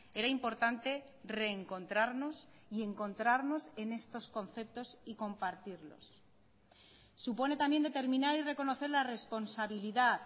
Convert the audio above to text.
era importante reencontrarnos y encontrarnos en estos conceptos y compartirlos supone también determinar y reconocer la responsabilidad